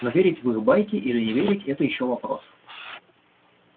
но верить в их байки или не верить это ещё вопрос